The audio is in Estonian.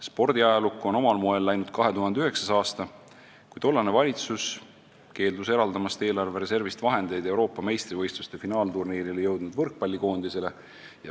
Spordiajalukku on omal moel läinud 2009. aasta, kui tollane valitsus keeldus eraldamast eelarve reservist vahendeid Euroopa meistrivõistluste finaalturniirile jõudnud võrkpallikoondisele.